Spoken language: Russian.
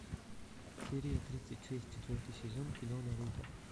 серия тридцать шесть четвертый сезон кино наруто